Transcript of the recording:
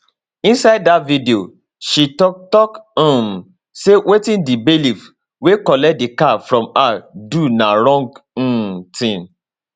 inside dat video she tok tok um say wetin di bailiffs wey collect di car from her do na wrong um tin